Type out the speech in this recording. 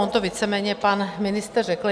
On to víceméně pan ministr řekl.